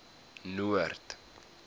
noord